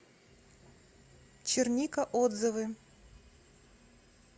черника отзывы